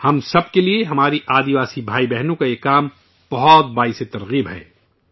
ہم سب کے لیے، ہمارے آدیواسی بھائی بہنوں کا یہ کام بہت بڑا سبق ہے